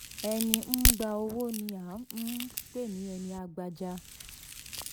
ẹni ń gbà owó ni a um pè ní ẹní ń um gbajà.